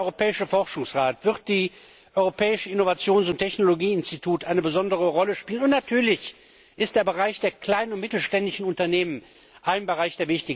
Natürlich werden der Europäische Forschungsrat und das Europäische Innovations und Technologieinstitut eine besondere Rolle spielen, und natürlich ist der Bereich der kleinen und mittelständischen Unternehmen ein wichtiger Bereich.